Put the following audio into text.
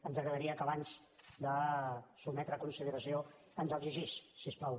ens agradaria que abans de sotmetre a consideració ens el llegís si us plau